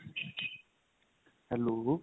hello